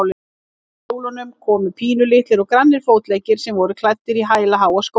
Undan kjólnum komu pínulitlir og grannir fótleggir sem voru klæddir í hælaháa skó.